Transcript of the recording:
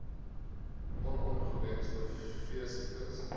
on ongewenste veesiektes